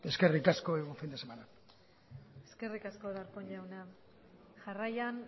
eskerrik asko y buen fin de semana eskerrik asko darpón jauna jarraian